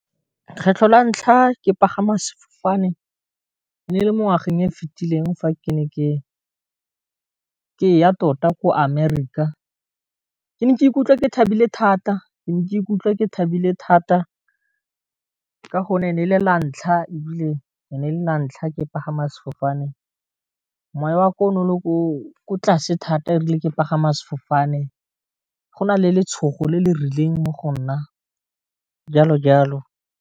Kgetlho la ntlha ke pagama sefofane e ne e le mo ngwageng e fitileng fa ke ne ke ka ya tota ko Amerika, ke ne ka ikutlwa ke thabile thata ka go nne le la ntlha e bile ne la ntlha ke pagama sefofane, moya wa ka o ne o le ko tlase thata e rile ke pagama sefofane go na le letshogo le le rileng mo go nna jalo jalo.